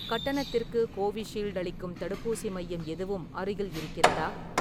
கட்டணத்திற்கு கோவிஷீல்டு அளிக்கும் தடுப்பூசி மையம் எதுவும் அருகில் இருக்கிறதா?